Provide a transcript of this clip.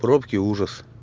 пробки ужас